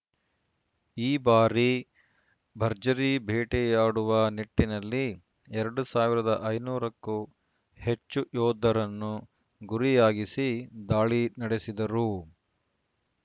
ಈ ಬಾರಿ ಭರ್ಜರಿ ಬೇಟೆಯಾಡುವ ನಿಟ್ಟಿನಲ್ಲಿ ಎರಡ್ ಸಾವಿರದ ಐನೂರು ಕ್ಕೂ ಹೆಚ್ಚು ಯೋಧರನ್ನು ಗುರಿಯಾಗಿಸಿ ದಾಳಿ ನಡೆಸಿದ್ದರು